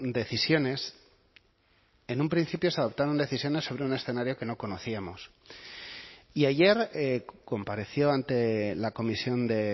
decisiones en un principio se adoptaron decisiones sobre un escenario que no conocíamos y ayer compareció ante la comisión de